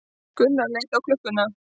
Gunnar leit á klukkuna.